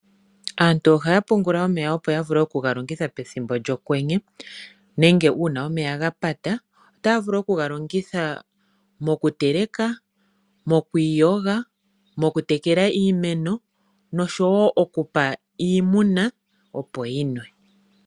Aantu ohaya pungula omeya opo ya vule oku ga longitha pethimbo lyokwenye nenge uuna omeya ga pata. Otaya vulu oku ga longitha moku teleka, mokwiiyoga, moku tekela iimeno oshowo oku pa iimuna, opo yinwe.